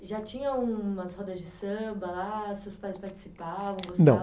Já tinham as rodas de samba lá? Seus pais participavam? Gostavam?ão.